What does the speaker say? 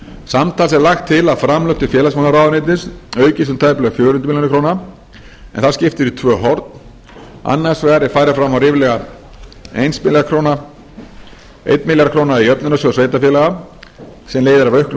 samtals er lagt til að framlög til félagsmálaráðuneytis aukast um tæplega fjögur hundruð milljóna króna en það skiptir í tvö horn annars vegar er farið fram á ríflega einn milljarð króna í jöfnunarsjóð sveitarfeálga sem leiðir af auknum